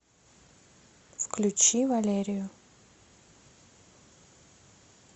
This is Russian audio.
включи валерию